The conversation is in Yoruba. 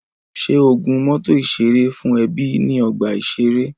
Ṣé o gun mọ́tọ̀ ìṣeré fún ẹbí ní ọgbà ìṣeré?